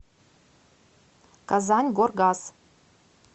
казаньгоргаз